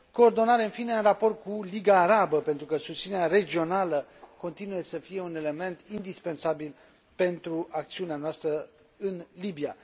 coordonare, în fine, în raport cu Liga Arabă, pentru că susținerea regională continuă să fie un element indispensabil pentru acțiunea noastră în Libia.